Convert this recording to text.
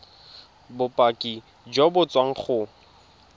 bopaki jo bo tswang go